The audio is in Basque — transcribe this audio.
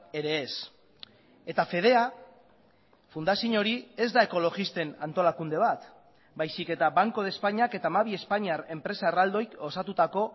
ere ez eta fedea fundazio hori ez da ekologisten antolakunde bat baizik eta banco de españak eta hamabi espainiar enpresa erraldoik osatutako